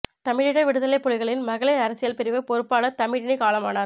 தமிழீழ விடுதலைப் புலிகளின் மகளிர் அரசியல் பிரிவு பொறுப்பாளர் தமிழினி காலமானார்